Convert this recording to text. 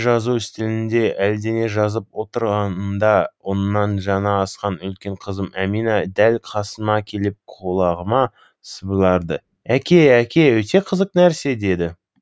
жазу үстелінде әлдене жазып отырғанымда оннан жаңа асқан үлкен қызым әмина дәл қасыма келіп құлағыма сыбырлады әке әке өте қызық нәрсе деді